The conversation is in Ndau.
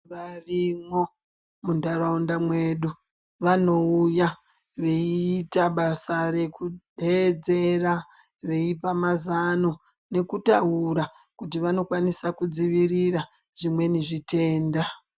Varimwo muntaraunda mwedu vanouya veiita basa rekudeedzera veipa mazano nekutaura kuti vanokwanisa kudzivirira zvimweni zvitenda.